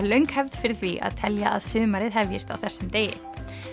löng hefð fyrir því að telja að sumarið hefjist á þessum degi